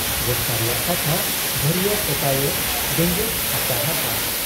ᱵᱚᱥᱛᱟ ᱨᱮᱭᱟᱜ ᱴᱟᱠᱟ ᱵᱷᱟᱹᱨᱤᱭᱟᱹ ᱠᱚᱛᱟᱭᱮ ᱵᱮᱸᱜᱮᱫ ᱟᱠᱟᱦᱟᱫ ᱟ ᱾